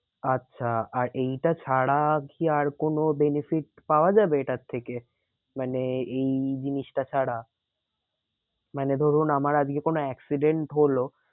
আচ্ছা আর এইটা ছাড়া কি আর কোনো benefit পাওয়া যাবে এটার থেকে? মানে এই জিনিসটা ছাড়া? মানে ধরুন আমার আজকে কোনো accident হলো